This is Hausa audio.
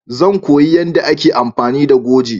Zan koya yanda a ke amfani da goje